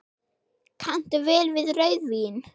Kanntu vel við rauðvín?